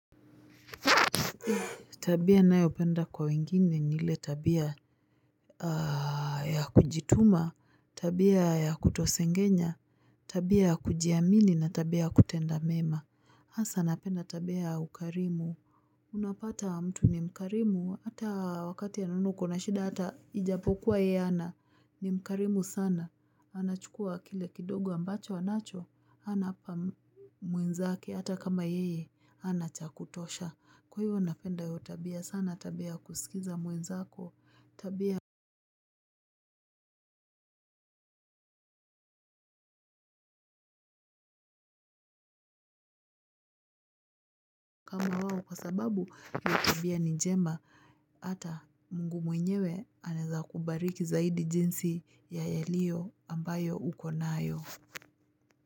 Tabia nayopenda kwa wengine ni ile tabia ya kujituma, tabia ya kutosengenya, tabia ya kujiamini na tabia ya kutenda mema. Hasa napenda tabia ya ukarimu. Unapata mtu ni mkarimu. Hata wakati anaona uko na shida. Hata ijapokuwa yeye hana. Ni mkarimu sana. Anachukua kile kidogo ambacho anacho. Hana hapa mwenzake. Hata kama yeye. Hana cha kutosha. Kwa hiyo napenda hiyo tabia sana tabia ya kusikiza mwenzako tabia. Kwa sababu hiyo tabia ni njema, hata mungu mwenyewe anaeza kubariki zaidi jinsi ya yaliyo ambayo uko nayo.